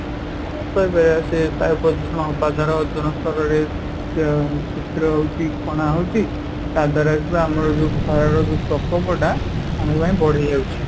ତ ଅ ସେ ବାୟୁ ପ୍ରଦୂଷଣ ହବା ଦ୍ୱାରା ଓଜନ ସ୍ତର ରେ ଅଂ ଛିଦ୍ର ହଉଛି କଣା ହଉଛି ତା ଦ୍ୱାରା ଯୋଉ ଆମର ଯୋଉ ଖରା ର ପ୍ରକୋପ ଟା ଆମ ପାଇଁ ବଢିଯାଉଛି